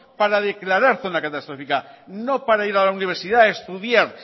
para declarar zona catastrófica no para ir a la universidad a estudiar